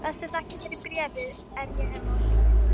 Bestu þakkir fyrir bréfið er ég hef móttekið.